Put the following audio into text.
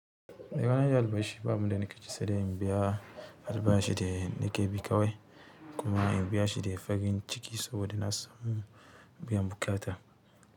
Eh bana iya albashi, babu abinda nake ci sedai in biya albashi da nake bi kawai kuma in biyshi da farin ciki saboda nasamu bayan buƙata.